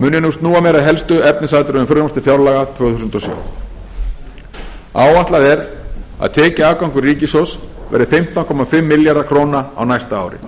mun ég nú snúa mér að helstu efnisatriðum frumvarps til fjárlaga tvö þúsund og sjö áætlað er að tekjuafgangur ríkissjóðs verði fimmtán komma fimm milljarðar króna á næsta ári